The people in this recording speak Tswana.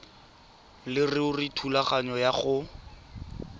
leruri thulaganyo ya go